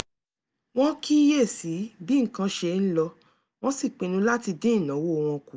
wọ́n kíyè sí bí nǹkan ṣe ń lọ wọ́n sì pinnu láti dín ìnáwó wọn kù